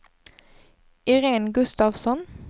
Iréne Gustafsson